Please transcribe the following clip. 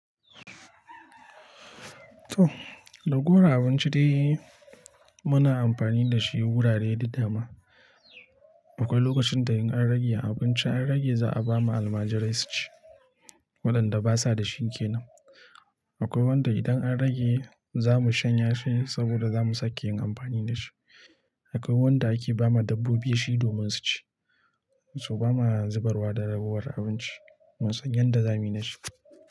To, ragowar abinci dai muna amfani da shi wurare da dama Akwai lokacin da in an rage abinci an rage za a ba ma almajirai su ci, waɗanda basa da shinkenan. Akwai wanda idan an rage za mu shanye shi saboda za mu sake yin amfani da shi. Akwai wanda ake ba ma dabbobi shi domin su ci, su ba ma zubarwa da rabuwar abinci. Mun sanyan da za mu yi da shi.